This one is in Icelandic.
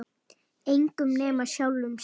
Engum nema sjálfum sér.